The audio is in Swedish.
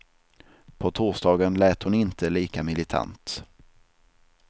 På torsdagen lät hon inte lika militant.